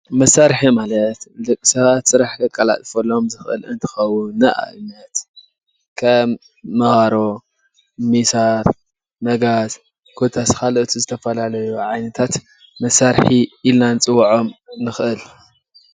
መሳርሒ ማለት ንደቂ ሰባት ስራሕ ከቀላጥፈሎም እንክእል እንትከውን ንኣብነት ከም መባሮ፣ ሚሳር፣ መጋዝ ኮታስ ካልኦት ዝተፈላለዩ ዓይነታት መሳርሒ ኢልካ ክንፅውዖም ንክእል፡፡